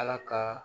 Ala ka